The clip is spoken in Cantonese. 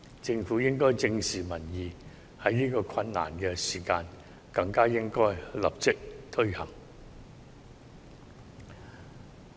政府應該正視民意，在這個困難的時間更應該立即推行。